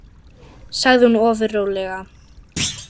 sagði hún ofur rólega.